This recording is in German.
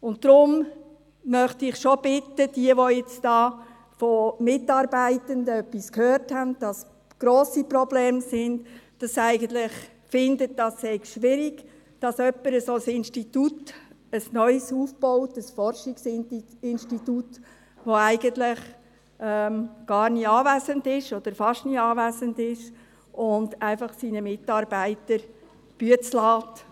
Deshalb möchte ich diejenigen schon bitten, die nun hier von Mitarbeitenden gehört haben, dass grosse Probleme bestehen und eigentlich finden, es sei schwierig, dass jemand ein solches neues Forschungsinstitut aufbaut, der eigentlich nie oder fast nie anwesend ist und die Arbeit einfach seinen Mitarbeitern überlässt.